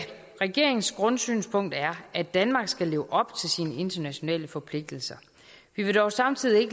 regeringens grundsynspunkt er at danmark skal leve op til sine internationale forpligtelser vi vil dog samtidig